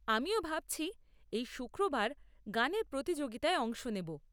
আমিও ভাবছি এই শুক্রবার গানের প্রতিযোগিতায় অংশ নেব।